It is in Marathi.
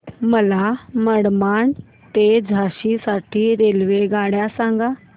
मला मनमाड ते झाशी साठी रेल्वेगाड्या सांगा